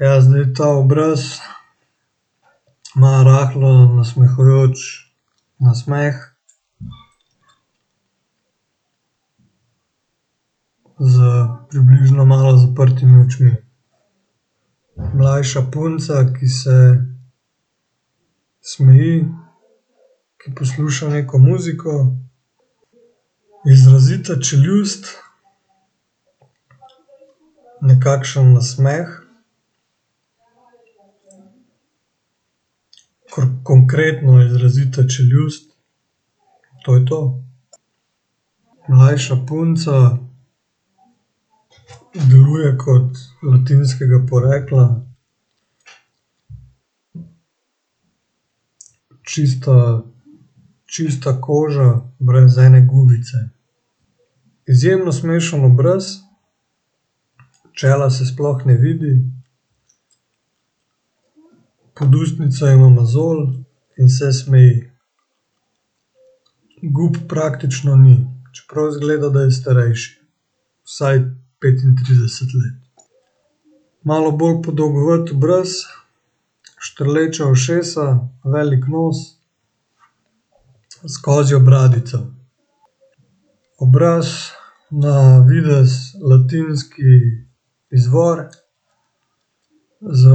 Ja, zdaj ta obraz ima rahlo nasmehujoč nasmeh. S približno malo zaprtimi očmi. Mlajša punca, ki se smeji, ki posluša neko muziko, izrazita čeljust. Nekakšen nasmeh. konkretno izrazita čeljust, to je to. Mlajša punca, deluje kot latinskega porekla. Čista, čista koža brez ene gubice. Izjemno smešen obraz, čela se sploh ne vidi, pod ustnico ima mozolj in se smeji. Gub praktično ni, čeprav izgleda, da je starejši, vsaj petintrideset let. Malo bolj podolgovat obraz, štrleča ušesa, velik nos, s kozjo bradico. Obraz, na videz latinski izvor, z